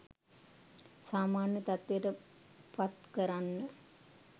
සාමාන්‍ය තත්ත්වයට පත් කරන්න.